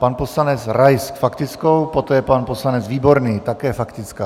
Pan poslanec Rais faktickou, poté pan poslanec Výborný, také faktická.